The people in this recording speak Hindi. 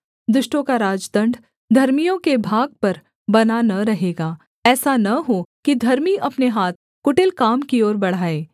दुष्टों का राजदण्ड धर्मियों के भाग पर बना न रहेगा ऐसा न हो कि धर्मी अपने हाथ कुटिल काम की ओर बढ़ाएँ